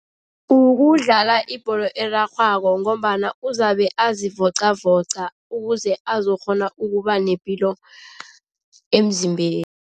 Ukudlala ibholo erarhwako ngombana uzabe azivocavoca ukuze azokukghona ukuba nepilo emzimbeni.